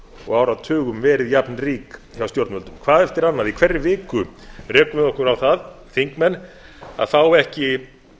og áratugum verið jafnrík hjá stjórnvöldum hvað eftir annað í hverri viku rekum við okkur á það þingmenn að fá ekki